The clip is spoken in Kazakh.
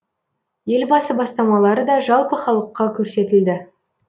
елбасы бастамалары да жалпы халыққа көрсетілді